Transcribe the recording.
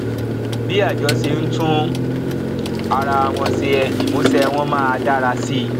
bí àjọ ṣe ń tún ara wọn ṣe ìmúṣẹ wọn máa dára sí i